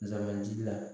Zanbanti la